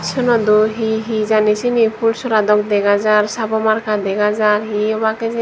suno do hee hee jani sini pul sora dok dega jar sabomarka dega jar hi obak hijeni.